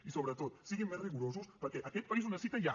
i sobretot siguin més rigorosos perquè aquest país ho necessita ja